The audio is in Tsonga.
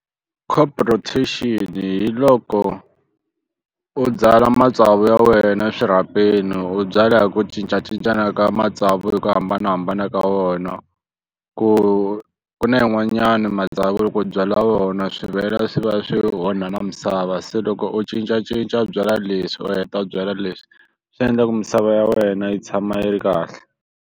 Crop rotation hi loko u byala matsavu ya wena eswirhapeni u byala hi ku cincacincana ka matsavu hi ku hambanahambana ka wona ku ku na yin'wanyani matsavu loko u byala vona swi vhela swi va swi onha na misava se loko u cincacinca byalwa leswi u heta byala leswi swi endla ku misava ya wena yi tshama yi ri kahle.